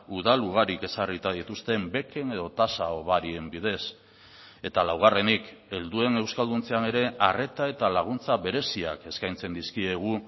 udal ugarik ezarrita dituzten beken edo tasa hobarien bidez eta laugarrenik helduen euskalduntzean ere arreta eta laguntza bereziak eskaintzen dizkiegu